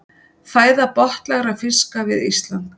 Fæða botnlægra fiska við Ísland.